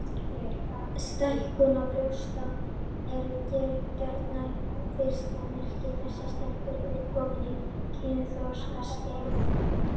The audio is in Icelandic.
Stækkun brjósta er gjarnan fyrstu merki þess að stelpa er komin á kynþroskaskeið.